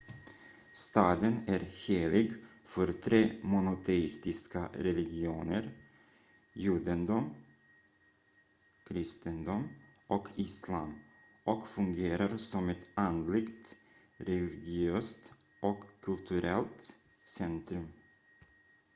staden är helig för tre monoteistiska religioner judendom kristendom och islam och fungerar som ett andligt religiöst och kulturellt centrum